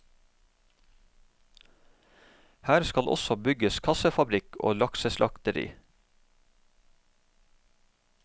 Her skal også bygges kassefabrikk og lakseslakteri.